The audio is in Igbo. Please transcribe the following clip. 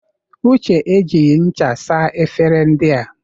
Uche e jighi ncha saa efere ndị a.